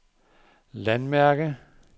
landmærke